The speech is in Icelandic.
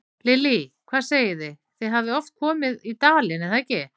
Lillý: Hvað segið þið, þið hafið oft komið í dalinn, er það ekki?